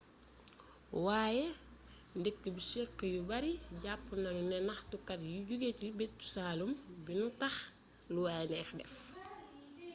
way-dëkk bishkek yu bari japp nañu ne ñaxtukat yu joge ci bëj-saalum bi ño tax lu way nex def